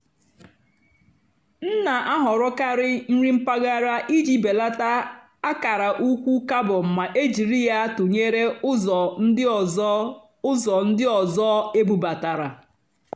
m nà-àhọ̀rọ́karị́ nrì mpàgàrà ìjì bèlátá àkàrà ụ́kwụ́ càrbón mà é jìrí yá tụ́nyeré ụ́zọ̀ ndí ọ́zọ́ ụ́zọ̀ ndí ọ́zọ́ ébúbátàrá.